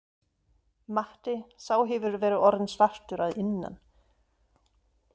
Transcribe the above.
Matti, sá hefur verið orðinn svartur að innan.